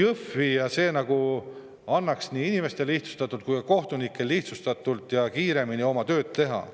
Kohtumaja annaks nii inimestele kui ka kohtunikele võimaluse lihtsamalt ja kiiremini oma tööd teha.